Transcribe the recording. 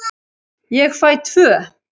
Ég fæ tvö.